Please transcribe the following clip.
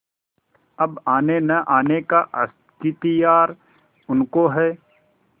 अब आनेनआने का अख्तियार उनको है